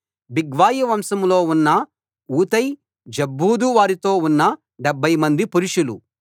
బిగ్వయి వంశంలో ఉన్న ఊతై జబ్బూదు వారితో ఉన్న 70 మంది పురుషులు